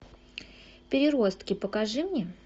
переростки покажи мне